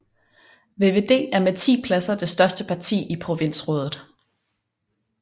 VVD er med 10 pladser det største parti i provinsrådet